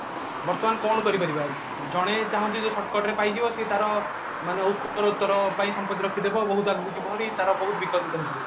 ବର୍ତମାନ କଣ କରି ପାରିବା ଜଣେ ଚାହୁଁଛି ଯେ ତାର ସିଏ shortcut ରେ ପାଇଯିବ ସେ ତାର ମାନେ ସେ ତାର ଉତ୍ତର ପାଇଁ ସମ୍ପତି ରଖିଦେବ ବହୁତ ଆଗକୁ ଯିବ ବାହାରି ତାର ବହୁତ ବିକଶିତ ହେଇଯିବ